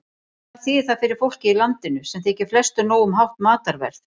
En hvað þýðir það fyrir fólkið í landinu, sem þykir flestu nóg um hátt matarverð?